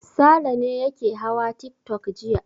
Sale ne yake hawa tiktok jiya.